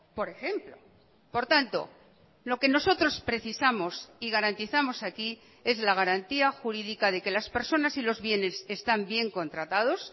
por ejemplo por tanto lo que nosotros precisamos y garantizamos aquí es la garantía jurídica de que las personas y los bienes están bien contratados